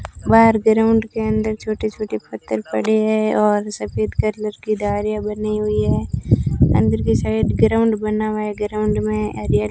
बाहर ग्राउंड के अंदर छोटे छोटे पत्थर पड़े है और सफेद कलर की धारियां बनी हुईं है अंदर की साइड ग्राउंड बना हुआ है ग्राउंड में हरियर--